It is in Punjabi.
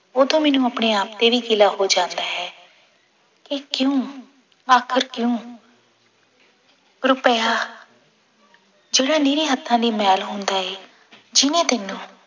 ਉਦੋਂ ਮੈਨੂੰ ਆਪਣੇ ਆਪ ਤੇ ਵੀ ਗਿਲਾ ਹੋ ਜਾਂਦਾ ਹੈ ਕਿ ਕਿਉਂ ਆਖਿਰ ਕਿਉਂ ਰੁਪਇਆ ਜਿਹੜੇ ਨਿਰੇ ਹੱਥਾਂ ਦੀ ਮੈਲ ਹੁੰਦਾ ਹੈ ਜਿਹਨੇ ਤੈਨੂੰ